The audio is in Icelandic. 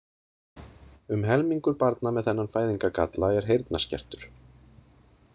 Um helmingur barna með þennan fæðingargalla er heyrnarskertur.